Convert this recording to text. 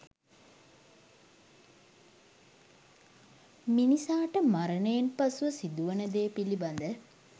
මිනිසාට මරණයෙන් පසුව සිදුවන දේ පිළිබද